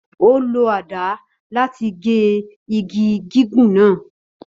Ó lo àdá láti gé igi gígùn náà